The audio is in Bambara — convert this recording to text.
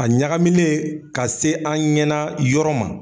A ɲaga minɛ ka se an ɲɛna yɔrɔ ma.